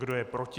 Kdo je proti?